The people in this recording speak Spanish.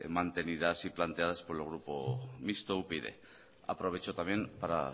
mantenidas y planteadas por el grupo mixto upyd aprovecho también para